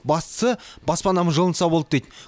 бастысы баспанам жылынса болды дейді